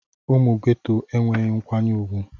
Ụmụ Geto enweghị nkwanye ùgwù.